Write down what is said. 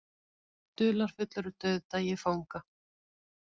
Dularfullur dauðdagi fanga